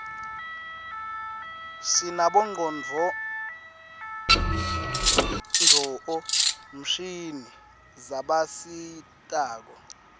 sinabonqconduo mshini zabasistako